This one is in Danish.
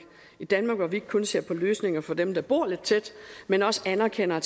et danmark hvor vi ikke kun ser på løsninger for dem der bor lidt tæt men også anerkender at